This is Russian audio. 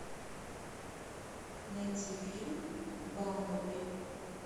найти фильм бамблби